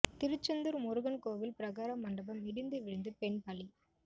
திருச்செந்தூர் முருகன் கோவில் பிரகார மண்டபம் இடிந்து விழுந்து பெண் பலி